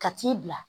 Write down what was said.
Ka t'i bila